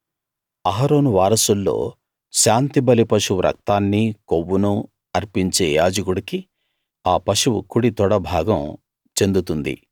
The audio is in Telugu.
అహరోను వారసుల్లో శాంతిబలి పశువు రక్తాన్నీ కొవ్వునూ అర్పించే యాజకుడికి ఆ పశువు కుడి తొడ భాగం చెందుతుంది